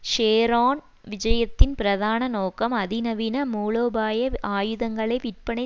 Sharon விஜயத்தின் பிரதான நோக்கம் அதிநவீன மூலோபாய ஆயுதங்களை விற்பனை